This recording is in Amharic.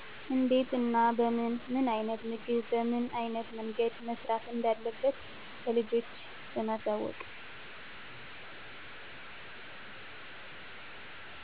እንዴት እና በምን፣ ምን አይነት ምግብ በምን አይነት መንገድ መሰራት እንዳለበት ለልጆች በማሳወቅ።